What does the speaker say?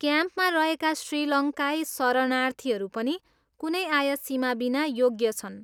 क्याम्पमा रहेका श्रीलङ्काई शरणार्थीहरू पनि कुनै आय सीमाबिना योग्य छन्।